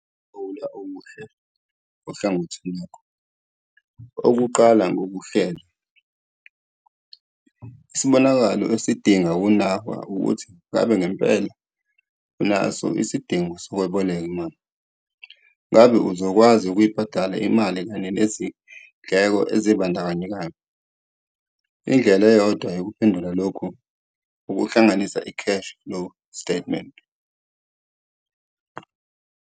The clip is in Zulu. Ukuthatha isinquma sokweboleka imali kudinga ukulawula okuhle ohlangothini lwakho, okuqala ngokuhlela. Isibonakalo esidinga ukunakwa ukuthi ngabe ngempela unaso isidingo sokweboleka imali, ngabe uzokwazi ukuyibhadala imali kanye nezindleko ezibandakanyekayo. Indlela eyodwa yokuphendula lokhu ukuhlanganisa i-cash-flow statement.